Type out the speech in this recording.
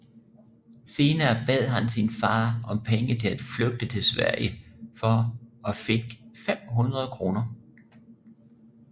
Senere bad han sin far om penge til at flygte til Sverige for og fik 500 kroner